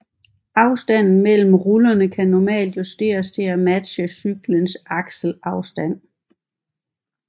Afstanden mellem rullerne kan normalt justeres til at matche cyklens akselafstand